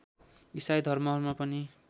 इसाई धर्महरूमा पनि